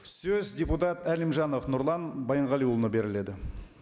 сөз депутат әлімжанов нұрлан байянғалиұлына беріледі